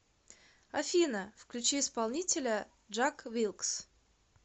афина включи исполнителя джак вилкс